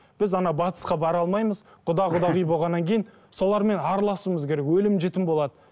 біз батысқа бара алмаймыз құда құдағи болғаннан кейін солармен араласуымыз керек өлім жітім болады